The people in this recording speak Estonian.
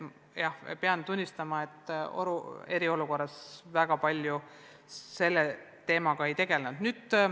Jah, pean tunnistama, et eriolukorras ma väga palju selle teemaga ei tegelenud.